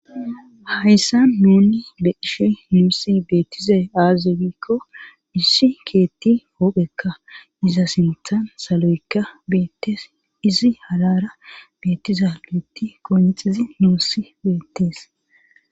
hayssa nuni beishi nusi betiza aazegikko issi keethi wobeka iza sintan salo7eka beetes izi halara betiza leeti konete zi nuussi beetese